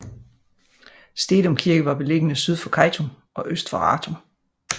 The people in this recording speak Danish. Stedum Kirke var beliggende syd for Kejtum og øst for Rantum